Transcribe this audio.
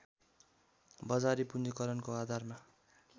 बजारी पूँजीकरणको आधारमा